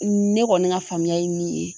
Ne kɔni ka faamuya ye min ye